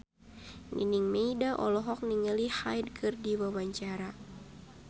Nining Meida olohok ningali Hyde keur diwawancara